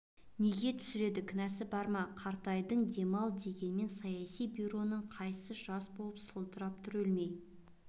неге түсіреді кінәсі бар ма қартайдың дем ал деген ме саяси бюродағылардың қайсысы жас боп сылдырап тұр өлмей